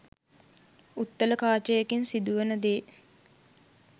උත්තල කාචයකින් සිදුවෙනදේ